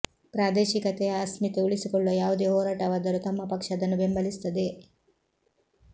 ಪ್ರಾದೇಶಿಕತೆಯ ಅಸ್ಮಿತೆ ಉಳಿಸಿಕೊಳ್ಳುವ ಯಾವುದೇ ಹೋರಾಟವಾದರೂ ತಮ್ಮ ಪಕ್ಷ ಅದನ್ನು ಬೆಂಬಲಿಸುತ್ತದೆ